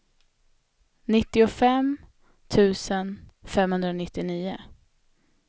nittiofem tusen femhundranittionio